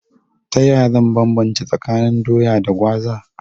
Ta yaya zan banbance tsakanin Doya da Gwaza?